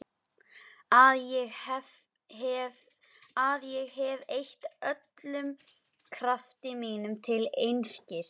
Að ég hef eytt öllum krafti mínum til einskis.